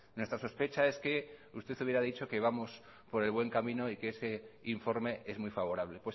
nuestra sospecha es que usted hubiera dicho que vamos por el buen camino y que ese informe es muy favorable